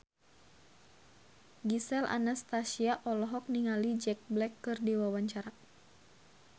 Gisel Anastasia olohok ningali Jack Black keur diwawancara